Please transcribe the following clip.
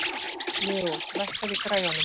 Leo, lækkaðu í græjunum.